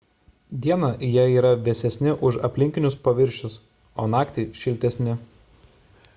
dieną jie yra vėsesni už aplinkinius paviršius o naktį šiltesni